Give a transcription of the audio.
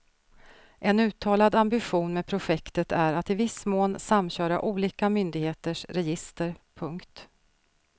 En uttalad ambition med projektet är att i viss mån samköra olika myndigheters register. punkt